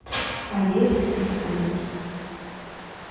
олесе трифоновой